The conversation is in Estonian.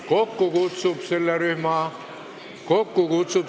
Kokku kutsub selle rühma Barbi Pilvre.